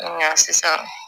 Nka sisan